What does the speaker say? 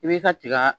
I b'i ka tiga